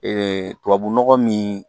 tubabunɔgɔ min